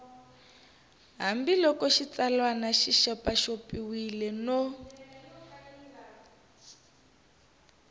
hambiloko xitsalwana xi xopaxopiwile no